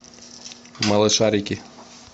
малышарики